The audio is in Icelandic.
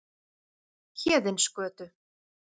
Héðinsgötu